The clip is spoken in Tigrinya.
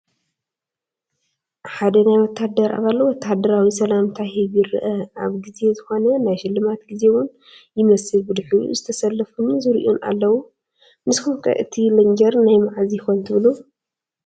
ሓደ ናይ ወታደር ኣባል ወታደራዊ ሰላምታ ይህብ ይረአ፡፡ ኣብ ጊዜ ዝኾነ ናይ ሽልማት ጊዜ ውን ይመስል ብድሕሪኡ ዝተሰለፉን ዝሪኡን ኣለው፡፡ ንስኹም ከ እቲ ሌንጀር ናይ ማዓዝ ይኾን ትብሉ?